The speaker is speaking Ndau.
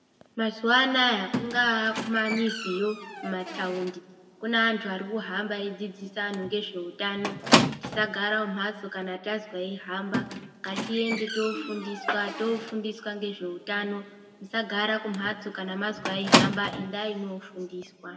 Mazuva anawa kungava kumamiziyo kumataundi kune antu arikuhamba eidzidzisa antu nezvehutano tisagara mumbatso kana mazwa eihamba ngatiende tofundiswa t,ofundiswa nezvehutano tisagara kumbatso kana tazwa veihamba endai kofundiswa.